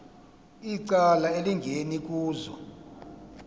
icala elingeni kuzo